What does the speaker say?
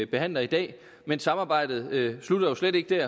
behandler i dag men samarbejdet slutter jo slet ikke der